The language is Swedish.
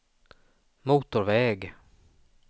motorväg